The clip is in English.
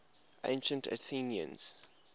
ancient athenians